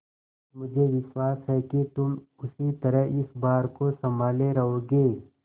मुझे विश्वास है कि तुम उसी तरह इस भार को सँभाले रहोगे